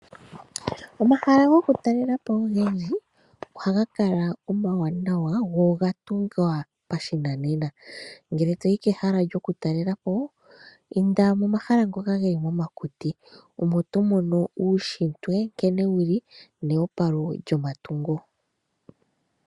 Omahala goku talelapo unene oha ga kala omawanawa go oga tungwa pashinanena. Ngele toyi kehala lyoku talelapo, inda mo mahala ngoka geli mo makuti , omo to mono uutshitwe nkene wuli neopalo lyo matungo.